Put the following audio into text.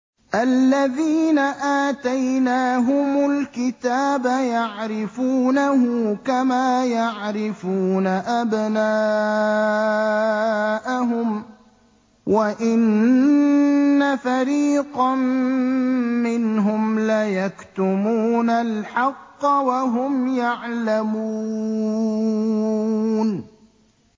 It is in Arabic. الَّذِينَ آتَيْنَاهُمُ الْكِتَابَ يَعْرِفُونَهُ كَمَا يَعْرِفُونَ أَبْنَاءَهُمْ ۖ وَإِنَّ فَرِيقًا مِّنْهُمْ لَيَكْتُمُونَ الْحَقَّ وَهُمْ يَعْلَمُونَ